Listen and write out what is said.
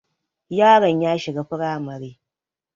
Yaron ya shiga firamare